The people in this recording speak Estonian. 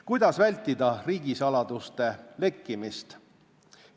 Kuidas vältida riigisaladuste lekkimist?